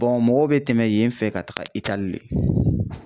mɔgɔw bɛ tɛmɛ yen fɛ ka taga Itali de.